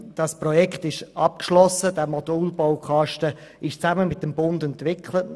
Dieses Projekt ist abgeschlossen, der Modulbaukasten wurde zusammen mit dem Bund entwickelt.